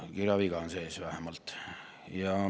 Kirjaviga on sees vähemalt.